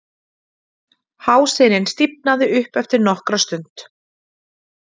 Hásinin stífnaði upp eftir nokkra stund